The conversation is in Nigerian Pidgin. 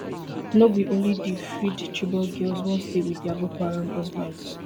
no be only di freed chibok girls wan stay wit dia boko haram husbands